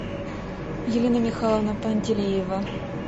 елена михайловна пантелеева